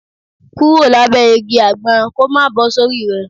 Kúrò lábẹ́ igi àgbọn kó má bọ́ sórí rẹ